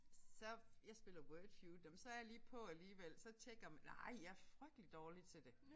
Så jeg spiller Wordfeud nåh men så jeg lige på alligevel så tjekker nej jeg frygtelig dårlig til det